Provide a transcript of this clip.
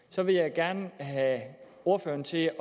så vil jeg gerne have ordføreren til at